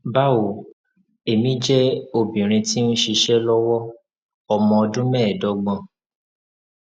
bawo emi jẹ obinrin ti nṣiṣe lọwọ ọmọ ọdun meedogbon